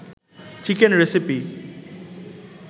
chicken recipe